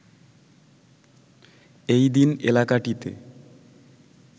এই দিন এলাকাটিতে